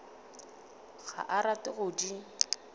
ga a rate go di